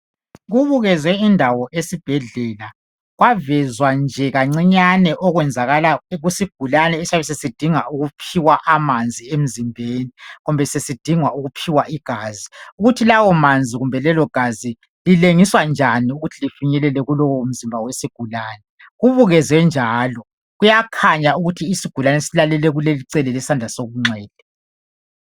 kubukezwe indawo esibhedlela kwavezwa nje kancinyane okwenzakala kusigulane esiyabe sesidinga yisi ukuphiwa amanzi emzibeni kumbe sesidingwa ukuphiwa igazi ukuthi lawo manzi kumbe lelo gazi lilengiswa njani ukthi lifinyelele kuleso sigulane kubukezwe njalo kuyakhanya ukuthi isigulane silalele kuleli icala ngesandla sokunxele